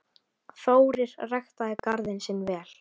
Þórir ræktaði garðinn sinn vel.